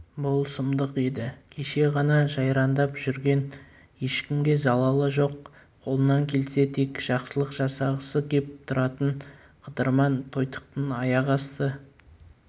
бұл сұмдық еді кеше ғана жайраңдап жүрген ешкімге залалы жоқ қолынан келсе тек жақсылық жасағысы кеп тұратын қыдырман тойтықтың аяқ асты